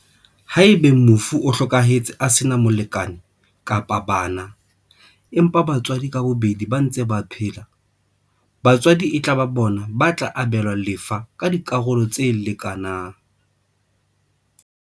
Haeba mofu o hlokahetse a sena molekane kapa bana, empa batswadi ka bobedi ba ntse ba phela, batswadi e tla ba bona ba tla abelwa lefa ka dikarolo tse leka nang.